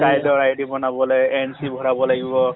child ৰ id বনাবলে NC ভৰাব লাগিব